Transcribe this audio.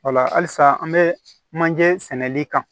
Ola halisa an be manje sɛnɛli kan